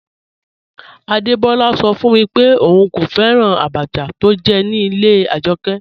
Adebọla sọ fun mi pé óún kò fẹ́ràn àbàchà tó jẹ̀ ní ilẹ̀ Ajọkẹ.